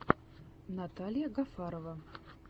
наталья гафарова